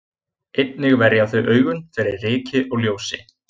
Einnig verja þau augun fyrir ryki og ljósi.